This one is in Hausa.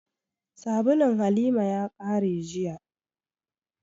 Sabulun Halima ya ƙare jiya